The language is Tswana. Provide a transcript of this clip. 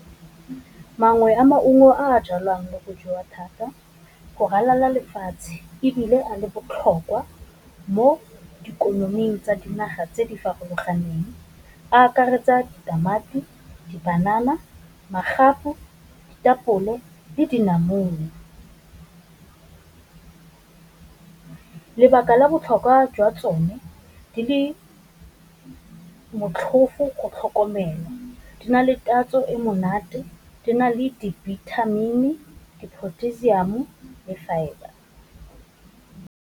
Mangwe a maungo a jalwang mo le go jewa thata go ralala lefatshe, ebile a le botlhokwa mo ikonoming tsa dinaga tse di farologaneng akaretsa tamati, di banana, magapu, ditapole le dinamune. Lebaka la botlhokwa jwa tsone di le motlhofo go tlhokomelwa, di na le tatso e monate, di na le dibithamini, dipotassium le fibre.